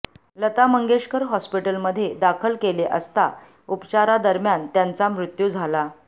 लता मंगेशकर हॉस्पिटलमध्ये दाखल केले असता उपचारादरम्यान त्यांचा मृत्यू झाला